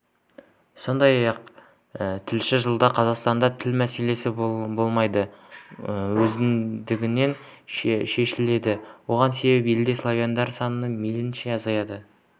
сондай-ақ тілші жылда қазақстанда тіл мәселесі болмайды өздігінен шешіледі оған себеп елде славяндар саны мейлінше азаяды